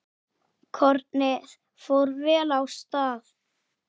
Kornið fór vel af stað.